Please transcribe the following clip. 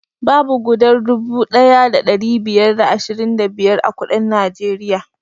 Babu gudar dubu ɗaya da ɗari biyar da ashirin da biyar a kuɗin najeriya